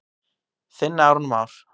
Þinn Aron Már.